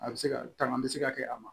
A bɛ se ka tanga bɛ se ka kɛ a ma